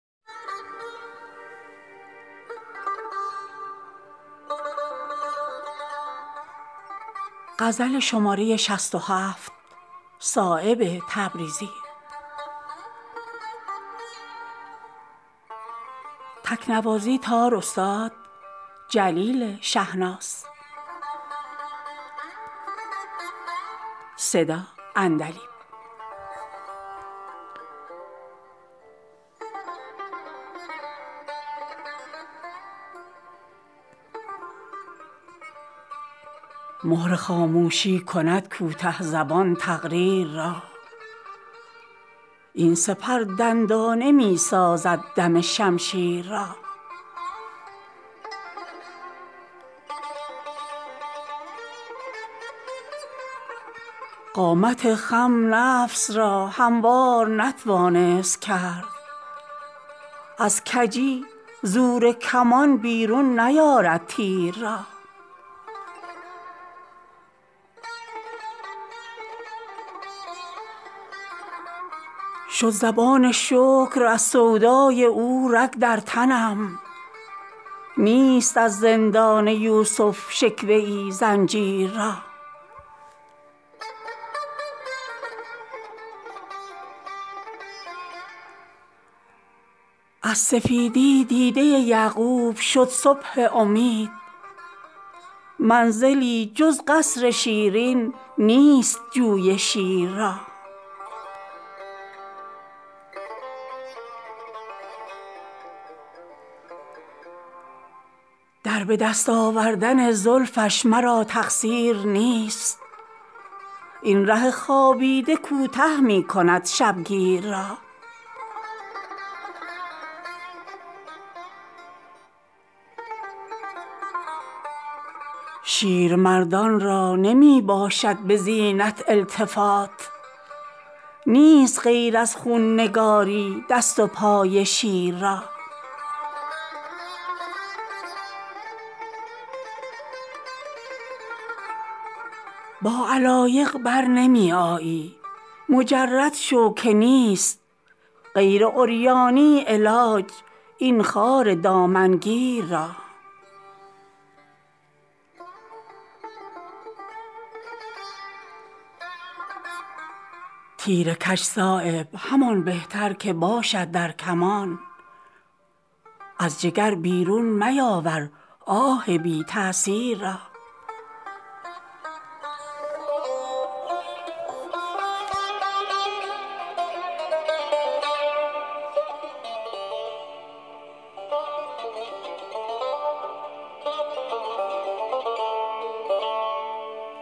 مهر خاموشی کند کوته زبان تقریر را این سپر دندانه می سازد دم شمشیر را قامت خم نفس را هموار نتوانست کرد از کجی زور کمان بیرون نیارد تیر را شد زبان شکر از سودای او رگ در تنم نیست از زندان یوسف شکوه ای زنجیر را از سفیدی دیده یعقوب شد صبح امید منزلی جز قصر شیرین نیست جوی شیر را در به دست آوردن زلفش مرا تقصیر نیست این ره خوابیده کوته می کند شبگیر را شیرمردان را نمی باشد به زینت التفات نیست غیر از خون نگاری دست و پای شیر را با علایق برنمی آیی مجرد شو که نیست غیر عریانی علاج این خار دامنگیر را تیر کج صایب همان بهتر که باشد در کمان از جگر بیرون میاور آه بی تأثیر را